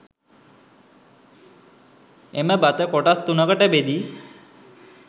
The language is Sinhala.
එම බත කොටස් 3 කට බෙදී